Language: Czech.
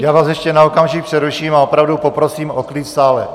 Já vás ještě na okamžik přeruším a opravdu poprosím o klid v sále.